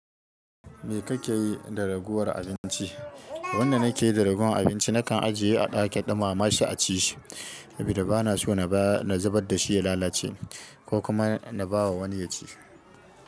Me kake yi da ragowar abinci? Abunda nake yi da ragowar abinci nakan ajiye a ɗakin ɗumama shi a ci shi saboda bana so na zubar da shi ya lalace ko kuma na ba wa wani ya ci.